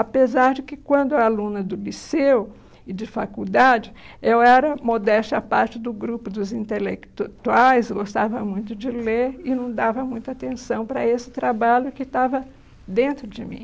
Apesar de que, quando eu era aluna do liceu e de faculdade, eu era modesta à parte do grupo dos intelectuais, gostava muito de ler e não dava muita atenção para esse trabalho que estava dentro de mim.